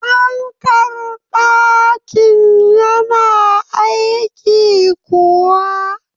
Fankar ɗakin ki yana aiki kuwa?